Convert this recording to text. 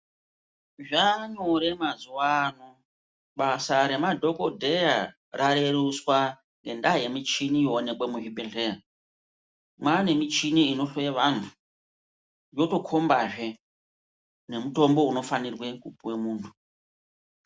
Zvanyore mazuva ano basa remadhokodheya rareruswa ngendaya yemuchini yoonekwa muzvibhedhleya mwane michini inohloya vanhu inotokombazve nemutombo unofanirwe kupuwa muntu.